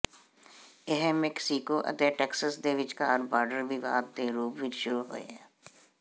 ਇਹ ਮੈਕਸੀਕੋ ਅਤੇ ਟੈਕਸਸ ਦੇ ਵਿਚਕਾਰ ਬਾਰਡਰ ਵਿਵਾਦ ਦੇ ਰੂਪ ਵਿੱਚ ਸ਼ੁਰੂ ਹੋਇਆ